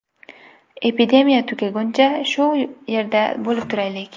Epidemiya tugaguncha, shu yerda bo‘lib turaylik.